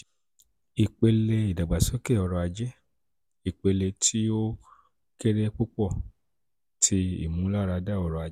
ipele idagbasoke ọrọ-aje: ipele ti o kere ti o kere pupọ ti imularada ọrọ-aje